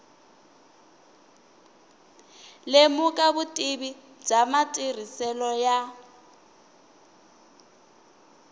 lemuka vutivi bya matirhiselo ya